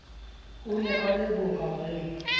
o ne a le bohareng